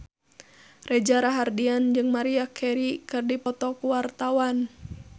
Reza Rahardian jeung Maria Carey keur dipoto ku wartawan